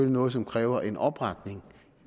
noget som kræver en opretning